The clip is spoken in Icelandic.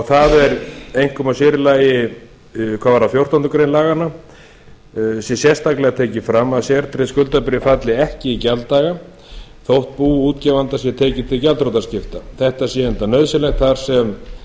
það er einkum og sér í lagi hvað varðar fjórtándu greinar laganna sé sérstaklega tekið fram að sértryggð skuldabréf falli ekki í gjalddaga þótt bú útgefanda sé tekið til gjaldþrotaskipta þetta sé enda nauðsynlegt þar sem